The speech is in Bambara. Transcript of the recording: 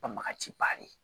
Banbagaci ba de ye